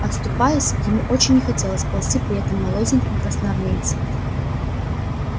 оступаясь ему очень не хотелось ползти при этом молоденьком красноармейце